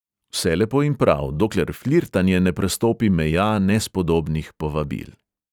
Vse lepo in prav, dokler flirtanje ne prestopi meja nespodobnih povabil.